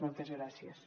moltes gràcies